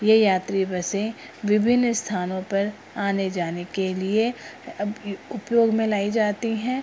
ये यात्री बसें विभिन्न स्थानों पर आने-जाने के लिए अ उपयोग में लाई जाती हैं।